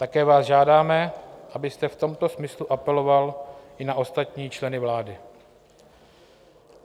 Také vás žádáme, abyste v tomto smyslu apeloval i na ostatní členy vlády.